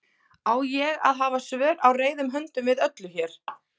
Á ég að hafa svör á reiðum höndum við öllu hér?